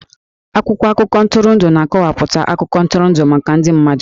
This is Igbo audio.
Akwụkwọ akụkọ ntụrụndụ na-akọwapụta akụkọ ntụrụndụ maka ndị mmadụ